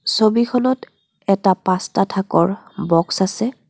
ছবিখনত এটা পাঁচটা থাকৰ বক্স আছে.